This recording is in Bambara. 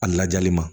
A lajali ma